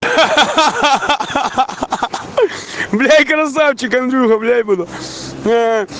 ха-ха бля красавчик андрюха бля буду